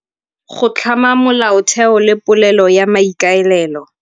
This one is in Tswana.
Go tlhama molaotheo le polelo ya maikaelelo.